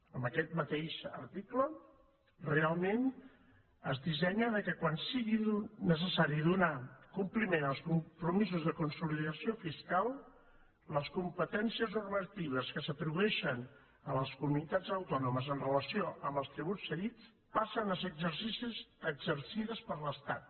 en aquest mateix article realment es dissenya que quan sigui necessari donar compliment als compromisos de consolidació fiscal les competències normatives que s’atribueixen a les comunitats autònomes en relació amb els tributs cedits passen a ser exercides per l’estat